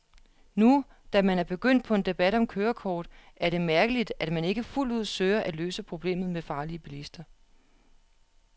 Nu, da man er begyndt på en debat om kørekort, er det mærkeligt, at man ikke fuldt ud søger at løse problemet med farlige bilister.